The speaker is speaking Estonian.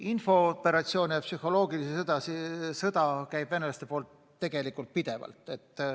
Infooperatsioon ja psühholoogiline sõda käib venelaste poolt tegelikult pidevalt.